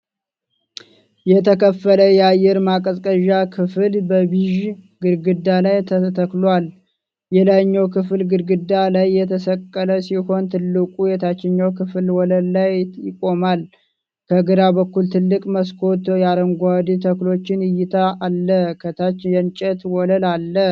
የተከፈለ የአየር ማቀዝቀዣ ክፍል በቢዥ ግድግዳ ላይ ተተክሏል። የላይኛው ክፍል ግድግዳ ላይ የተሰቀለ ሲሆን፣ ትልቁ የታችኛው ክፍል ወለል ላይ ይቆማል። ከግራ በኩል ትልቅ መስኮት የአረንጓዴ ተክሎችን እይታ አለ፤ ከታች የእንጨት ወለል አለ።